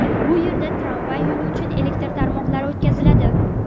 Bu yerda tramvay yo‘li uchun elektr tarmoqlar o‘tkaziladi.